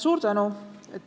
Suur tänu!